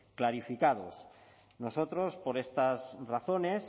clarificados nosotros por estas razones